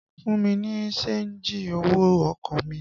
Fún mi ní ṣéńjì owó ọkọ̀ mi!